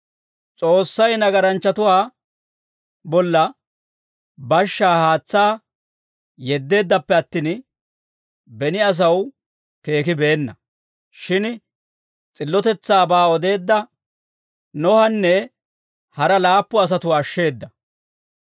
S'oossay nagaranchchatuwaa bolla bashshaa haatsaa yeddeeddappe attin, beni asaw keekibeenna; shin s'illotetsaabaa odeedda Nohanne hara laappu asatuwaa ashsheeda.